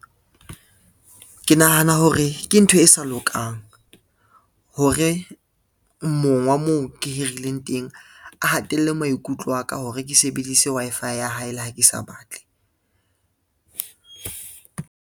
Ke nahana hore ke ntho e sa lokang, hore mong wa moo ke hirileng teng a hatella maikutlo aka hore ke sebedise Wi-Fi ya hae le ha ke sa batle.